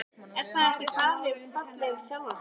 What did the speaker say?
Er það ekki fallið um sjálft sig?